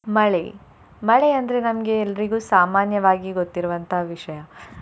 ಮಳೆ ಮಳೆ ಅಂದ್ರೆ ನಮ್ಗೆ ಎಲ್ರಿಗೂ ಸಾಮಾನ್ಯವಾಗಿ ಗೊತ್ತಿರುವಂತ ವಿಷಯ.